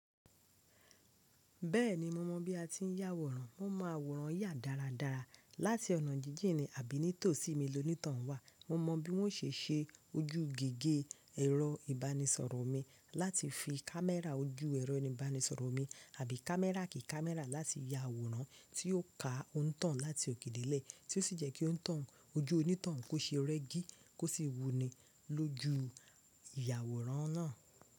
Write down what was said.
Bẹ́ẹ̀ni mo mọ̀ bí a ti ń yà àwòrán, mo mọ àwòrán yà dáradára. Láti ọ̀nà jíjìnì àbí nítòsí mi loní ìtàn wa, mo mọ bí wọ́n ṣe ń ṣe ojú gige ẹ̀rọ ìbánisọ̀rọ̀ mi láti fi kámẹ́rà ojú ẹ̀rọ ìbánisọ̀rọ̀ mi, àbí kámẹ́rà kí kámẹ́rà láti ya àwòrán tí yóò ka òǹtàn láti òkè lè tí ó sì jẹ́ kí òǹtàn ojú onítàn kó ṣe rẹ́gí kó sì wuni lójú ìyàwòrán náà.